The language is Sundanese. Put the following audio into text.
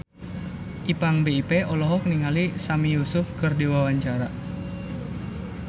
Ipank BIP olohok ningali Sami Yusuf keur diwawancara